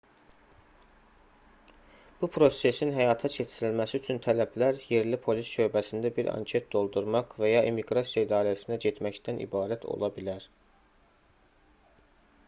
bu prosesin həyata keçirilməsi üçün tələblər yerli polis şöbəsində bir anket doldurmaq və ya immiqrasiya idarəsinə getməkdən ibarət ola bilər